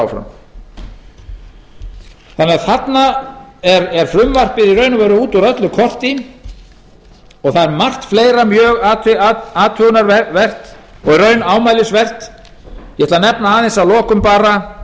að vera áfram frumvarpið er þarna út úr öllu korti og það er margt fleira mjög athugunarvert og í raun ámælisvert ég ætla að nefna að lokum